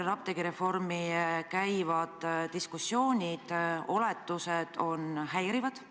Apteegireformi ümber käivad diskussioonid, oletused on häirivad.